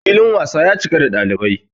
filin wasa ya cika da dalibai